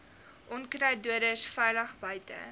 onkruiddoders veilig buite